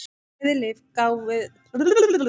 Bæði lið gáfu fá færi á sér.